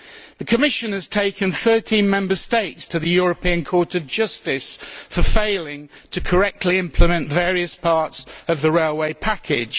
The Commission has taken 13 Member States to the European Court of Justice for failing to correctly implement various parts of the railway package.